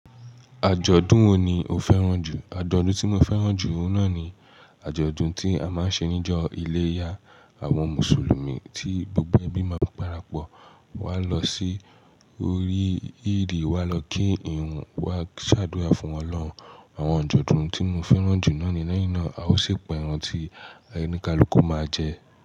Àjọ̀dún wo ni o fẹ́ràn jù? Àjọ̀dún tí mo fẹ́ràn jù oun náà ni àjọ̀dún tí a máa ń ṣe níjọ́ iléyá àwọn Mùsùlùmí tí gbogbo ẹbí máa ń parapọ̀ wá lọ sí orí ìrí wá lọ kí ìrun wá ṣàdúrà fún Ọlọ́run. Àwọn àjọ̀dún tí mo fẹ́ràn jù náà ni lẹ́yìn náà a ó si p'ẹran tí ẹni káluku máa jẹ.